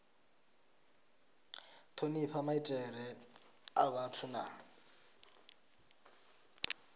thonifha maitele a vhathu na